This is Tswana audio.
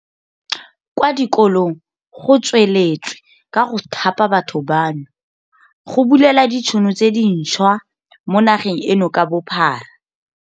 Kwa dikolong go tsweletswe ka go thapa batho bano, go bulela ditšhono tse dinšhwa mo nageng eno ka bophara.